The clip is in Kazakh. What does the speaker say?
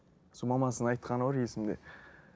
сол мамасының айтқаны бар есімде